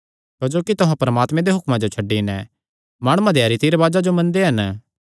क्जोकि तुहां परमात्मे दे हुक्मां जो छड्डी नैं माणुआं देयां रीति रिवाजां जो मनदे हन